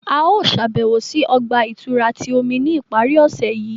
A yóò ṣabẹwo si ọgba-ìturá ti omi ni ipari ọse yii.